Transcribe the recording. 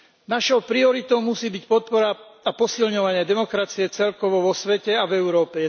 Našou prioritou musí byť podpora a posilňovanie demokracie celkovo vo svete a v Európe.